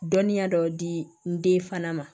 Dɔnniya dɔw di n den fana ma